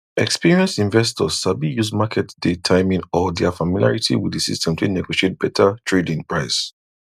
experienced investors sabi use market day timing or their familiarity with the system take negotiate better tradein price